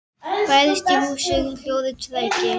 Bærist í húsi hljóður tregi.